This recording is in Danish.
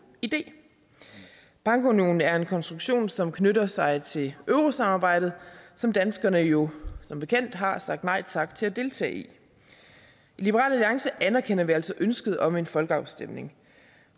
idé bankunionen er en konstruktion som knytter sig til eurosamarbejdet som danskerne jo som bekendt har sagt nej tak til at deltage i i liberal alliance anerkender vi altså ønsket om en folkeafstemning